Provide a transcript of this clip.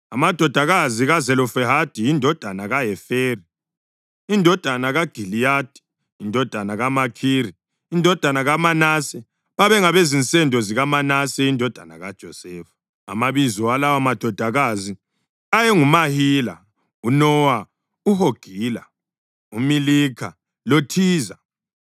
Amadodakazi kaZelofehadi indodana kaHeferi, indodana kaGiliyadi, indodana kaMakhiri, indodana kaManase babengabezinsendo zikaManase indodana kaJosefa. Amabizo alawomadodakazi ayenguMahila, uNowa, uHogila, uMilikha, loThiza. Aya